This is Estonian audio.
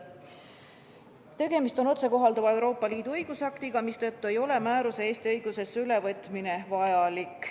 tegemist otsekohalduva Euroopa Liidu õigusaktiga, mistõttu ei ole määruse Eesti õigusesse ülevõtmine vajalik.